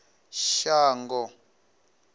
shango